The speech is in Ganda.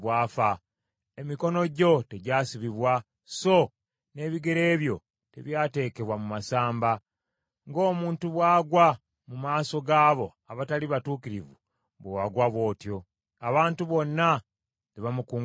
Emikono gyo tegyasibibwa, so n’ebigere byo tebyateekebwa mu masamba. Ng’omuntu bw’agwa mu maaso g’abo abatali batuukirivu, bwe wagwa bw’otyo.” Abantu bonna ne bamukungubagira.